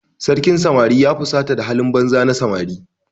Sarkin samari ya fusata da halin banza na samari.